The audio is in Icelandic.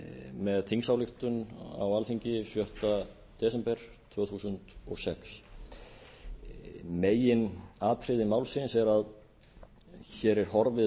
með þingsályktun á alþingi sjötta desember tvö þúsund og sex meginatriði málsins er að hér er horfið